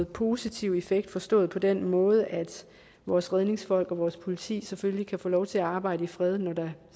positiv effekt forstået på den måde at vores redningsfolk og vores politi selvfølgelig kan få lov til at arbejde i fred når der